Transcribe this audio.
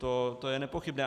To je nepochybné.